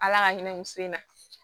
Ala ka hinɛ n sen na